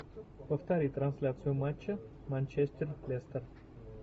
повтори трансляцию матча манчестер лестер